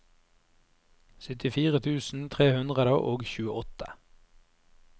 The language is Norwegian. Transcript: syttifire tusen tre hundre og tjueåtte